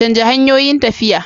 Canja hanyoyin tafiya.